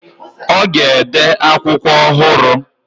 Ọ ga-ede akwụkwọ ọhụrụ.